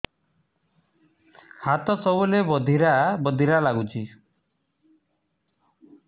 ହାତ ସବୁବେଳେ ବଧିରା ବଧିରା ଲାଗୁଚି